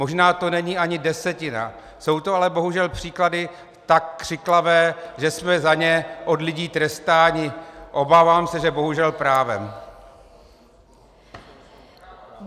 Možná to není ani desetina, jsou to ale bohužel příklady tak křiklavé, že jsme za ně od lidí trestáni - obávám se, že bohužel právem.